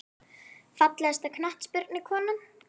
Fallegasta knattspyrnukonan??